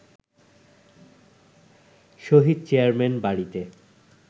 শহীদ chairman বাড়িতে